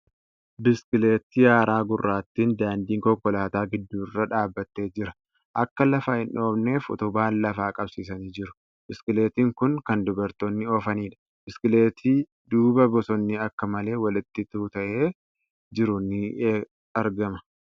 Biskileetii haaraa gurraattiin daandii konkolaataa gidduu irra dhaabbatee jira. Akka lafa hin dhoofneef utubaan lafa qabsiisanii jiru. Biskileetiin kun kan dubartoonni oofaniiidha. Biskileetii duuba bosonni akka malee walitti tuuta'ee jiru ni argama.